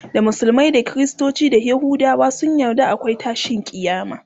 da musulmai da kristoci da yahudawa sun yarda akwai tashin kiyama